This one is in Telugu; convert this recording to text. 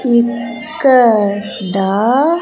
ఇక్కడ.